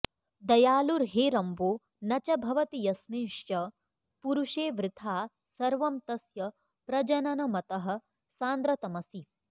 दयालुर्हेरम्बो न च भवति यस्मिंश्च पुरुषे वृथा सर्वं तस्य प्रजननमतः सान्द्रतमसि